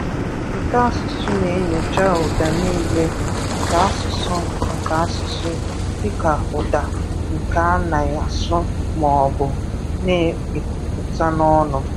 Ụtọasụsụ na-enyocha ụda niile nke asụsụ, nke asụsụ, dịka ụda ndị a na-asụ maọbụ na-ekwupụta n'ọnụ.